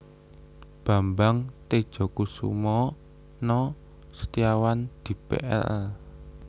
Bambang Tedjasukmana Setiawan Dipl